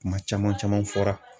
Kuma caman caman fɔra.